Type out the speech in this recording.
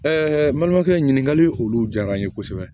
n balimakɛ ɲininkali olu diyara n ye kosɛbɛ